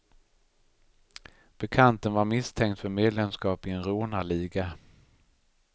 Bekanten var misstänkt för medlemskap i en rånarliga.